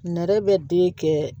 Nɛrɛ bɛ den kɛ